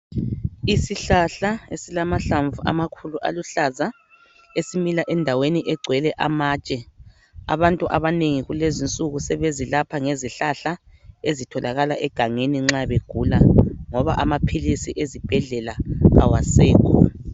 Isihlahla esilamahlamvu amakhulu aluhlaza esimila endaweni egcwele amatshe . Abantu abanengi kulezinsuku sebezilapha ngezihlahla ezitholakala egangeni nxa begula ngoba amaphilisi ezibhedlela awasekho.